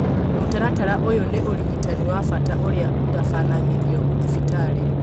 Mũtaratara ũyũ nĩ ũrigitani wa bata ũrĩa ũtabanagĩrio thibitarĩ